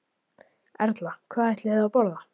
Erla: Hvað ætlið þið að borða?